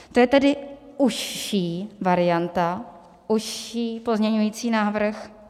To je tedy užší varianta, užší pozměňovací návrh.